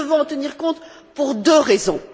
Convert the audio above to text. Nous devons en tenir compte pour deux raisons.